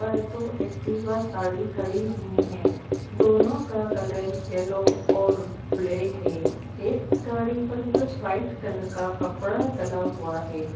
दो एक्टिवा गाड़ी खड़ी हुई हैं दोनों का कलर येल्लो और ब्लैक है| एक गाड़ी पर कुछ व्हाइट कलर का कपड़ा डला हुआ है।